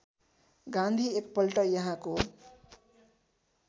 गान्धी एकपल्ट यहाँको